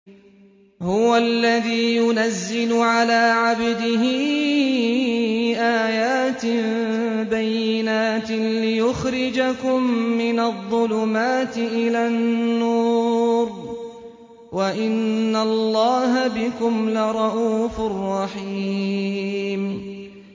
هُوَ الَّذِي يُنَزِّلُ عَلَىٰ عَبْدِهِ آيَاتٍ بَيِّنَاتٍ لِّيُخْرِجَكُم مِّنَ الظُّلُمَاتِ إِلَى النُّورِ ۚ وَإِنَّ اللَّهَ بِكُمْ لَرَءُوفٌ رَّحِيمٌ